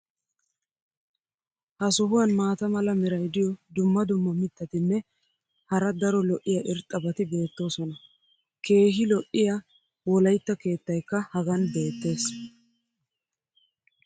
ha sohuwan maata mala meray diyo dumma dumma mitatinne hara daro lo'iya irxxabati beetoosona. keehi lo'iya wolaytta keettaykka hagan beetees.